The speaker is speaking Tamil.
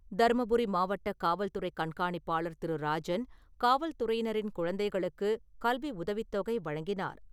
தருமபுரி மாவட்டக் காவல்துறை கண்காணிப்பாளர் திரு ராஜன், காவல் துறையினரின் குழந்தைகளுக்குக் கல்வி உதவித்தொகை வழங்கினார்.